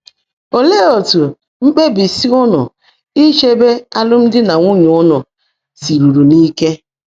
Óleé ótú mkpèbísi ụ́nụ́ ícheèbé álụ́mdị́ nà nwúnyé ụ́nụ́ sírùrú n’íke?